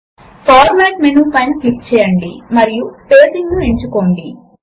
view menu పైన click చేయండి మరియు అప్డేట్ ను ఎంచుకోండి